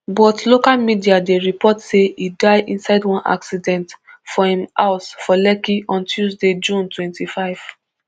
but local media dey report say e die inside one accident for im house for lekki on tuesday june twenty-five